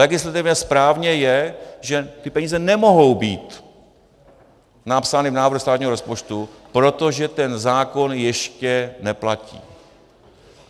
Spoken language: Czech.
Legislativně správně je, že ty peníze nemohou být napsány v návrhu státního rozpočtu, protože ten zákon ještě neplatí.